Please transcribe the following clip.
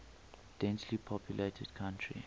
densely populated country